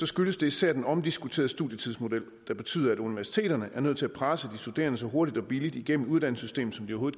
skyldes det især den omdiskuterede studietidsmodel der betyder at universiteterne er nødt til at presse de studerende så hurtigt og billigt igennem uddannelsessystemet som de